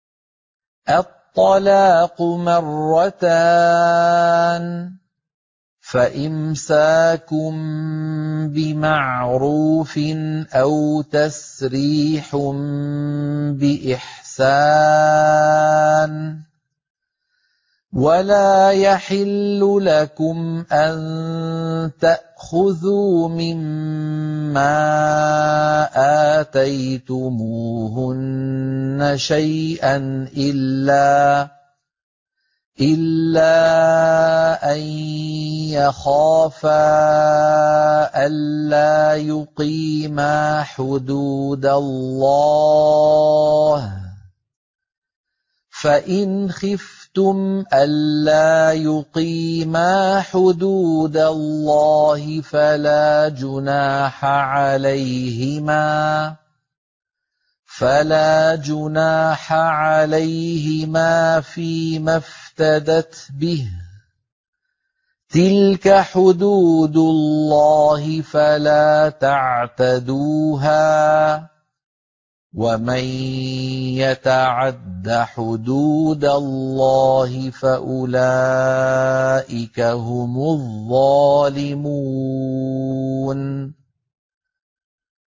الطَّلَاقُ مَرَّتَانِ ۖ فَإِمْسَاكٌ بِمَعْرُوفٍ أَوْ تَسْرِيحٌ بِإِحْسَانٍ ۗ وَلَا يَحِلُّ لَكُمْ أَن تَأْخُذُوا مِمَّا آتَيْتُمُوهُنَّ شَيْئًا إِلَّا أَن يَخَافَا أَلَّا يُقِيمَا حُدُودَ اللَّهِ ۖ فَإِنْ خِفْتُمْ أَلَّا يُقِيمَا حُدُودَ اللَّهِ فَلَا جُنَاحَ عَلَيْهِمَا فِيمَا افْتَدَتْ بِهِ ۗ تِلْكَ حُدُودُ اللَّهِ فَلَا تَعْتَدُوهَا ۚ وَمَن يَتَعَدَّ حُدُودَ اللَّهِ فَأُولَٰئِكَ هُمُ الظَّالِمُونَ